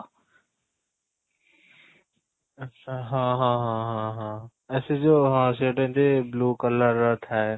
ଆଚ୍ଛା ହଁ ହଁ ହଁ ହଁ ହଁ ଏଇ ସେଇ ଯଉ ହଁ ସେ ଗୋଟେ ଏମିତି blue color ର ଥାଏ